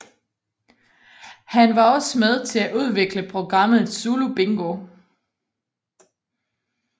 Han var også med til at udvikle programmet Zulu Bingo